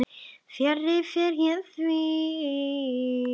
Fjarri fer því.